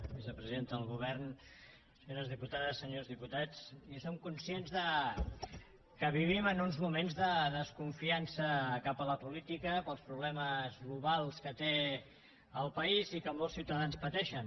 vicepresidenta del govern senyores diputades senyors diputats mirin som conscients que vivim en uns moments de desconfiança cap a la política pels problemes globals que té el país i que molts ciutadans pateixen